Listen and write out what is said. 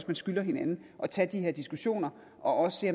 man skylder hinanden at tage de her diskussioner og se